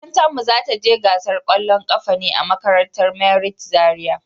Makarantan mu za ta je gasar kwallon kafa ne a makarantar merit Zaria.